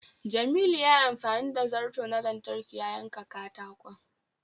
Jamilu yayi amfani da zarto na lantarki ya yanka katakon.